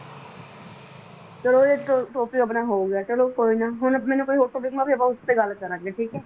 ਚਲੋ ਇਹ ਇਕ topic ਆਪਣਾ ਹੋ ਗਿਆ, ਚਲੋ ਕੋਈ ਨਾ ਹੁਣ ਮੈਨੂੰ ਕੋਈ ਹੋਰ topic ਆਪਾਂ ਉਸ ਤੇ ਗੱਲ ਕਰਾਂਗੇ, ਠੀਕ ਹੈ।